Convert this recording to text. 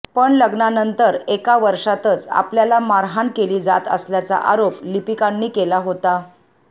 पण लग्नानंतर एका वर्षातच आपल्याला मारहाण केली जात असल्याचा आरोप लिपिकांनी केला होता